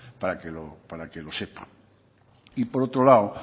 para que lo sepa y por otro lado